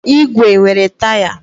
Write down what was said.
ígwè nwere taya.